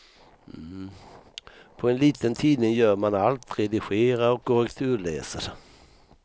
På en liten tidning gör man allt, redigerar och korrekturläser.